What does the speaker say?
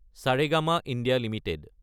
Saregama India Ltd